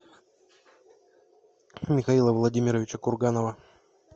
михаила владимировича курганова